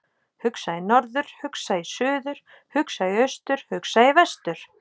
Hugsa í norður, hugsa í suður, hugsa í austur, hugsa í vestur.